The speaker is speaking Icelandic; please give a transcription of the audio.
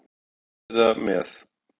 Ekki bara að vera með.